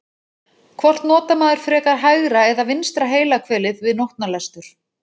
Hvort notar maður frekar hægra eða vinstra heilahvelið við nótnalestur?